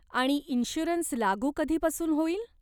आणि इन्श्युरन्स लागू कधीपासून होईल?